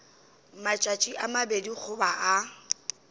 matšatši a mabedi goba a